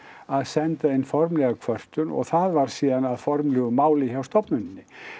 að senda inn formlega kvörtun og það varð síðan að formlegu máli hjá stofnunni